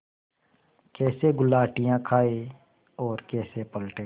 कैसे गुलाटियाँ खाएँ और कैसे पलटें